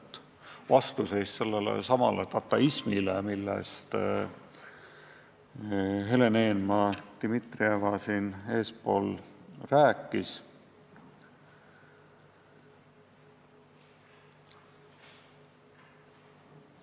See on vastuseis sellelesamale dataismile, millest Helen Eenmaa-Dimitrieva enne rääkis.